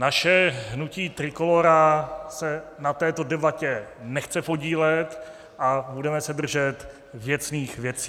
Naše hnutí Trikolóra se na této debatě nechce podílet a budeme se držet věcných věcí.